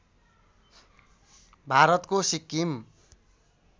भारतको सिक्किम